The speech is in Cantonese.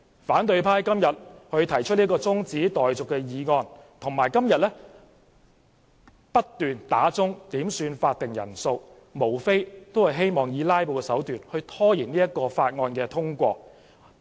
反對派議員今天動議中止待續議案，並多次要求點算法定人數，無非是以"拉布"手段拖延《條例草案》通過。